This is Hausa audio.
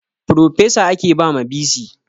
Frofesa ake ba ma bc